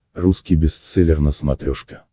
русский бестселлер на смотрешке